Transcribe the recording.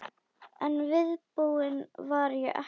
En viðbúin var ég ekki.